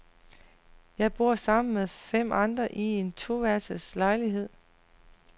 Jeg bor sammen med fem andre i en to værelses lejlighed.